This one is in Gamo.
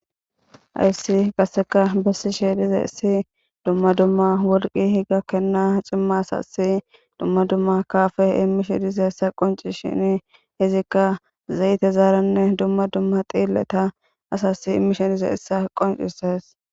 Hayss qase betishshe dizayissi dumma dumma worqe gakena dumma dumma kappe imishshe dizayissa qoncishshin zayterannne dumma dumma dhileta asas imishshe dizayissa qoncishshes